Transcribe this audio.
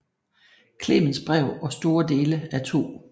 Clemensbrev og store dele af 2